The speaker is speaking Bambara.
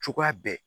Cogoya bɛ